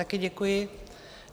Také děkuji.